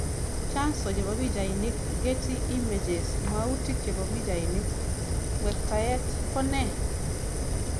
Chanso chebo pichainik, Getty Images Mwautik chebo pichainik, ng'wektaet ko ne?